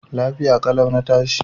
Lafiya ƙalau na tashi.